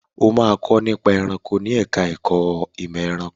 O máa kọ́ nípa ẹranko ní ẹ̀ka ẹ̀kó ìmọ̀ ẹranko.